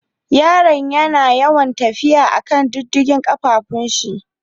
Yaran yana yawan tafiya a'kan diddigen kafafun shi.